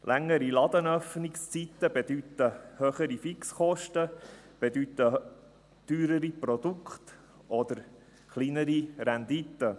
Längere Ladenöffnungszeiten bedeuten höhere Fixkosten, bedeuten teurere Produkte oder kleinere Rendite.